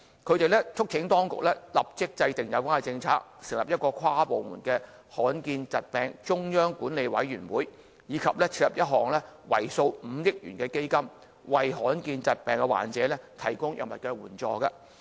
他們促請當局立法制訂有關政策、成立一個跨部門罕見疾病中央管理委員會，以及設立一項為數5億元的基金，為罕見疾病患者提供藥物援助。